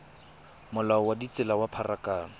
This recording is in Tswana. molao wa ditsela wa pharakano